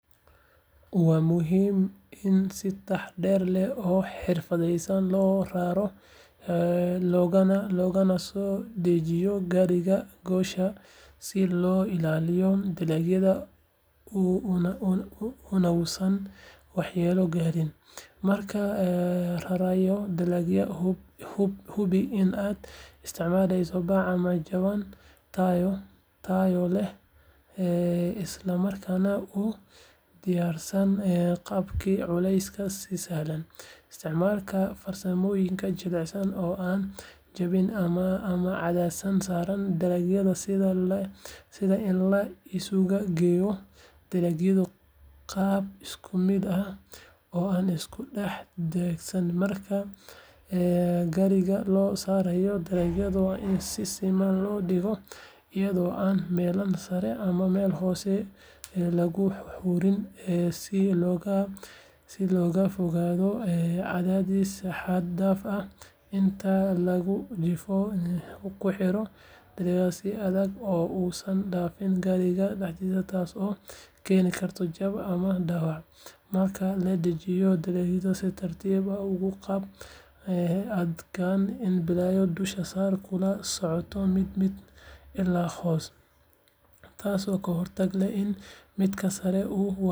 Waa muhiim in si taxaddar leh oo xirfadaysan loo raro loogana soo dejiyo gaariga goosha si loo ilaaliyo dalagga unausan waxyeello gaarin. Markaad rarayso dalagga, hubi in aad isticmaasho bac ama jawaan tayo leh isla markaana u diyaarsan qaadista culeyska si sahlan. Isticmaal farsamooyin jilicsan oo aan jabin ama cadaadis saarayn dalagga, sida in la isugu geeyo dalagga qaab isku mid ah oo aan isku dhex daadsanayn. Marka gaariga la saarayo, dalagga waa in si siman loo dhigaa iyadoo aan meelaha sare ama hoose lagu uruurin si looga fogaado cadaadis xad dhaaf ah. Inta lagu jiro gaadiidka, ku xiro dalagga si adag si uusan u dhaqaaqin gaariga dhexdiisa taasoo keeni karta jab ama dhaawac. Marka la dejinayo, dalagga si tartiib ah uga qaad gaariga adigoo ka bilaabaya dusha sare kuna soconaya mid mid ilaa hoose, taasoo ka hortagaysa in midka sare uu waxyeeleeyo midka hoose. Intaa kadib, hubi in dalagga si habboon loo kaydiyo si looga fogaado dhaawac ama lumis.